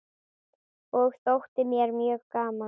Það þótti mér mjög gaman.